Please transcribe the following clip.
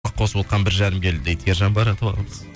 қосып отырған бір жарым келі дейді ержан байратов ағамыз